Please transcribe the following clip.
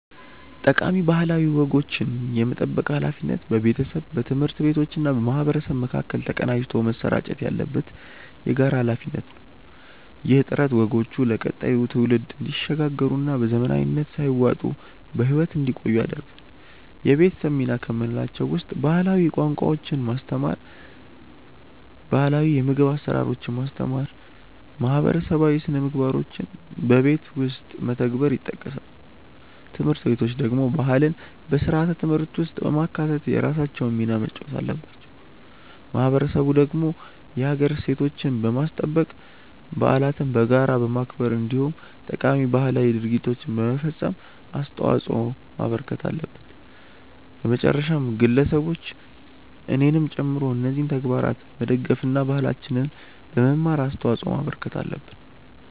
ጠቃሚ ባህላዊ ወጎችን የመጠበቅ ሃላፊነት በቤተሰብ፣ በትምህርት ቤቶችና በማህበረሰብ መካከል ተቀናጅቶ መሰራጨት ያለበት የጋራ ሃላፊነት ነው። ይህ ጥረት ወጎቹ ለቀጣዩ ትውልድ እንዲሸጋገሩና በዘመናዊነት ሳይዋጡ በህይወት እንዲቆዩ ያደርጋል። የቤተሰብ ሚና ከምንላቸው ውስጥ ባህላዊ ቋንቋዎችን ማስተማር፣ ባህላው የምግብ አሰራሮችን ማስተማር እና ማህበረሰባዊ ስነምግባሮችን በቤት ውስጥ መተግበር ይጠቀሳሉ። ትምህርት ቤቶች ደግሞ ባህልን በስርዓተ ትምህርት ውስጥ በማካተት የራሳቸውን ሚና መጫወት አለባቸው። ማህበረሰቡ ደግሞ የሀገር እሴቶችን በማስጠበቅ፣ በዓለትን በጋራ በማክበር እንዲሁም ጠቃሚ ባህላዊ ድርጊቶችን በመፈፀም አስተዋጽዖ ማበርከት አለበት። በመጨረሻም ግለሰቦች እኔንም ጨምሮ እነዚህን ተግባራት በመደገፍ እና ባህላችንን በመማር አስተዋጽዖ ማበርከት አለብን።